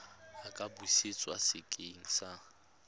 a ka busetswa sekeng sa